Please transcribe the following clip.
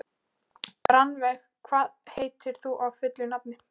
Rannveig, hvað heitir þú fullu nafni?